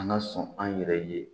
An ka sɔn an yɛrɛ ye